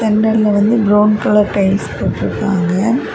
Centre லெ வந்து brown colour tiles போட்டிருக்காங்க.